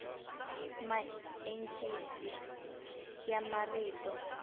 maencisi ya marito